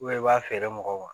i b'a feere mɔgɔw ma